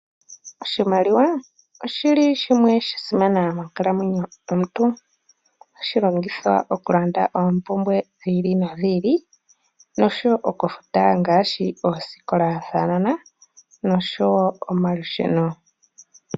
Oshimaliwa oshi li shimwe sha simana monkalamweno yomuntu, ohashi longithwa okulanda oompumbwe dhi ili nodhi ili noshowo okufuta ngaashi oosikola dhaanona noshowo omalusheno.